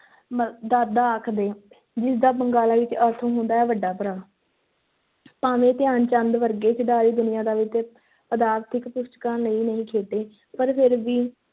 ਮ~ ਦਾਦਾ ਆਖਦੇ ਜਿਸ ਦਾ ਬੰਗਾਲੀ ਵਿੱਚ ਅਰਥ ਹੁੰਦਾ ਹੈ ਵੱਡਾ ਭਰਾ ਭਾਵੇਂ ਧਿਆਨ ਚੰਦ ਵਰਗੇ ਖਿਡਾਰੀ ਦੁਨਿਆਦਾਰੀ ਤੇ ਪਦਾਰਥਿਕ ਲਈ ਨਹੀਂ ਖੇਡੇ ਪਰ ਫਿਰ ਵੀ